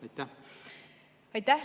Aitäh!